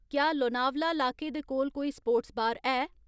क्या लोनावला लाके दे कोल कोई स्पोर्ट्स बार है